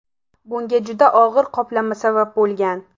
Bunga juda og‘ir qoplama sabab bo‘lgan.